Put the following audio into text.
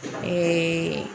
Ɛɛ